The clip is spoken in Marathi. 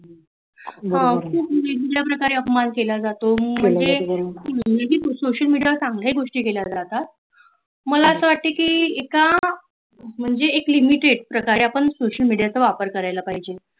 ह अशा प्रकारे अपमान केल जातो सोशल मेडिया वर चांगल्या गोष्टी केल्या जातात मला अस‌ वाटत की एक limited आहे आपण सोशल मीडियाचा‌ वापर करायला पाहिजे